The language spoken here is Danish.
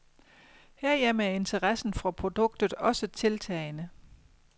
Herhjemme er interessen for produktet også tiltagende.